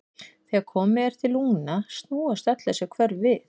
Þegar komið er til lungna snúast öll þessi hvörf við.